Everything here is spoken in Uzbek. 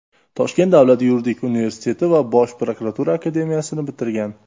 Toshkent davlat yuridik universiteti va Bosh prokuratura akademiyasini bitirgan.